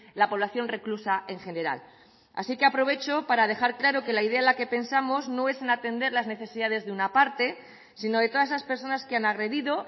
la población reclusa en general así que aprovecho para dejar claro que la idea en la que pensamos no es en atender las necesidades de una parte sino de todas esas personas que han agredido